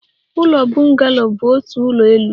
Ụlọ bungalow bụ otu ụlọ elu